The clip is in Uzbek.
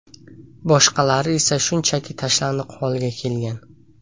Boshqalari esa shunchaki tashlandiq holga kelgan.